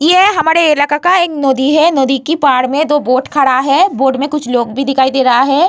ये हमारे इलाका का एक नदी है। नदी के बाढ़ में बोट खड़ा है। बोट में कुछ लोग भी दिखाई दे रहा है।